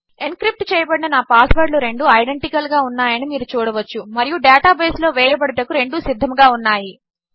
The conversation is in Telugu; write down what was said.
ఎన్క్రిప్ట్చేయబడిననాపాస్వర్డ్లురెండుఐడెంటికల్గాఉన్నాయనిమీరుచూడవచ్చుమరియుడేటాబేస్లోవేయబడుటకురెండుసిద్ధముగాఉన్నాయి